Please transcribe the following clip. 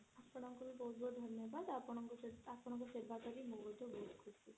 ଆପଣଙ୍କୁ ମଧ୍ୟ ବହୁତ ବହୁତ ଧନ୍ୟବାଦ ଆପଣ ଆପଣଙ୍କର ସେବା କରି ମୁଁ ମଧ୍ୟ ଖୁସି।